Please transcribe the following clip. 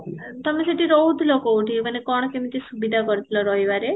ତମେ ସେଇଠି ରହୁଥିଲ କୋଉଠି ମାନେ କ'ଣ କେମତି ସୁବିଧା କରିଥିଲ ରହିବାରେ?